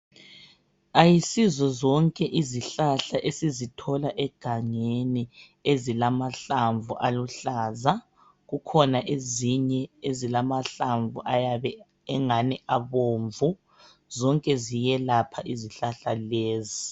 Ayisizo zonke izihlahla esizithola egangeni ezilamahlamvu aluhlaza. Kukhona ezinye ezilamahlamvu ayabe engani abomvu. Zonke ziyelapha izihlahla lezi.